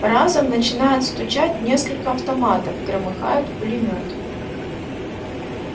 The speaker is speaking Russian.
разом начинают стучать несколько автоматов громыхает пулемёт